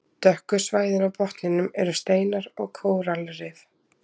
Dökku svæðin á botninum eru steinar og kóralrif.